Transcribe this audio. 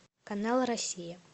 канал россия